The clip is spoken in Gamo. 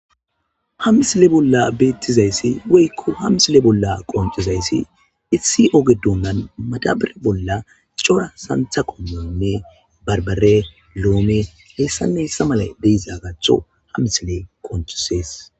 hamisile bolla beettizayssi weykko hamisile bolla qoncizayssi issi ogedonnan madabare bolla cora santha qommanne barbare loome heessanne hissa mala deiza gatho ha misile koncisees